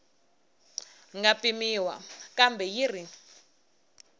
nga pimiwa kambe yi ri